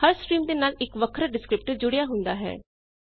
ਹਰ stream ਦੇ ਨਾਲ ਇੱਕ ਵਖਰਾ ਡਿਸਕ੍ਰਿਪਟਰ ਜੁੜਿਆ ਹੁੰਦਾ ਹੈ